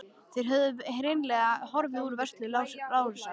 Þær höfðu hreinlega horfið úr vörslu Lárusar.